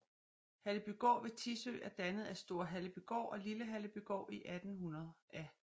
Hallebygård ved Tissø er dannet af Store Hallebygård og Lille Hallebygård i 1800 af G